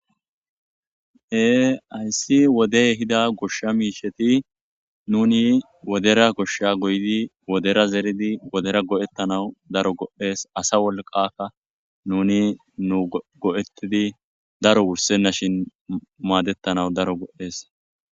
Ee ayssi wodey hida goshsha miisheti nuni wodera koshsha goyidi wodera zeridi wodera go'ettanau daro go'ees asa wolqaka nuni nu go'ettidi daro wursennashin maadettanawu daro go'ees.